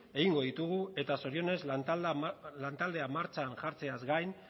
egingo ditugu eta zorionez lantaldea martxan jartzeaz gain